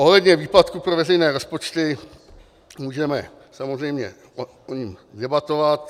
Ohledně výpadku pro veřejné rozpočty můžeme samozřejmě o ní debatovat.